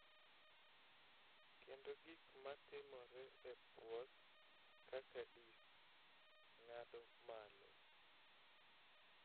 Kendo gik ma timore e puoth kaka disk, ng�ado malo,